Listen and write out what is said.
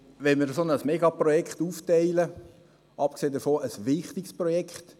Wenn wir ein solches Megaprojekt aufteilen – abgesehen davon ein wichtiges Projekt;